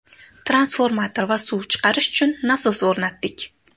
Transformator va suv chiqarish uchun nasos o‘rnatdik.